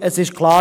Es ist klar: